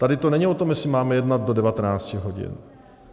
Tady to není o tom, jestli máme jednat do 19 hodin.